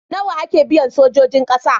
Nawa ake biyan sojojin ƙasa?